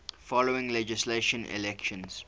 following legislative elections